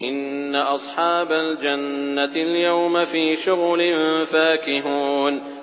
إِنَّ أَصْحَابَ الْجَنَّةِ الْيَوْمَ فِي شُغُلٍ فَاكِهُونَ